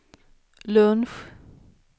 lunch